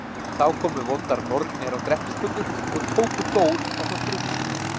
Þá komu vondar nornir á Grettisgötu og tóku Dór ásamt rúmi sínu.